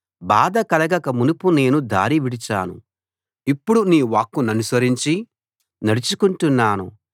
బాధ కలగక మునుపు నేను దారి విడిచాను ఇప్పుడు నీ వాక్కు ననుసరించి నడుచుకుంటున్నాను